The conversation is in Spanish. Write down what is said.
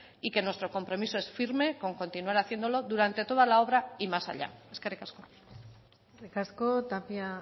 y que nuestro compromiso es firme con continuar haciéndolo durante toda la obra y más allá eskerrik asko eskerrik asko tapia